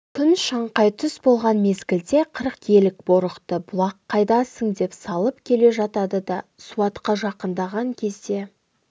күн шаңқай түс болған мезгілде қырық елік борықты бұлақ қайдасың деп салып келе жатады да суатқа жақындаған кезде